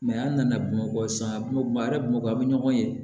an nana bamakɔ sisan bamakɔ a bamakɔ a bɛ ɲɔgɔn ye